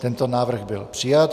Tento návrh byl přijat.